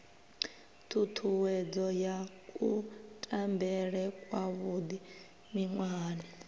ṱhuṱhuwedzo ya kutambele kwavhuḓi miṅwahani